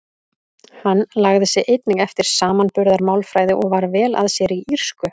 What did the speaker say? Hann lagði sig einnig eftir samanburðarmálfræði og var vel að sér í írsku.